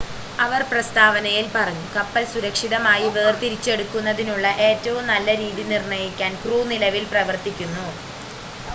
"അവർ പ്രസ്താവനയിൽ പറഞ്ഞു "കപ്പൽ സുരക്ഷിതമായി വേർതിരിച്ചെടുക്കുന്നതിനുള്ള ഏറ്റവും നല്ല രീതി നിർണ്ണയിക്കാൻ ക്രൂ നിലവിൽ പ്രവർത്തിക്കുന്നു"".